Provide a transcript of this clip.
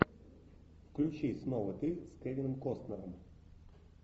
включи снова ты с кевин костнером